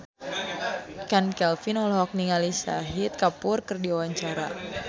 Chand Kelvin olohok ningali Shahid Kapoor keur diwawancara